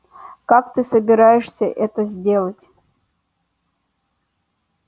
как ты собираешься это сделать